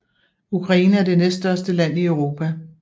Ukraine er det næststørste land i Europa